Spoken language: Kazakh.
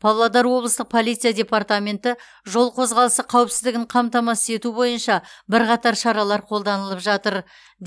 павлодар облыстық полиция департаменті жол қозғалысы қауіпсіздігін қамтамасыз ету бойынша бірқатар шаралар қолданылып жатыр